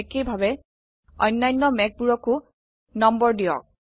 একেভাবে অন্যান্য মেঘবোৰকো নম্বৰ দিয়ক